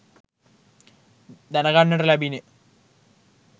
දැනගන්නට ලැබිණ